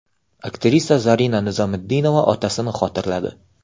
Aktrisa Zarina Nizomiddinova otasini xotirladi.